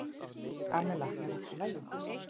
Kamilla, er allt í lagi?